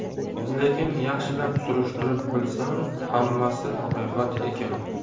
Lekin yaxshilab surishtirib bilsam, hammasi haqiqat ekan.